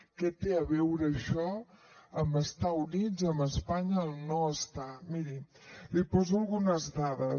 què té a veure això amb estar units amb espanya o no estar hi miri li poso algunes dades